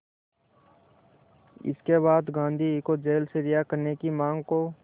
इसके बाद गांधी को जेल से रिहा करने की मांग को